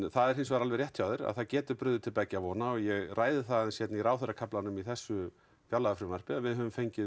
það er hins vegar alveg rétt hjá þér að það getur brugðið til beggja vona og ég ræði það aðeins í ráðherrakaflanum í þessu fjárlagafrumvarpi að við höfum fengið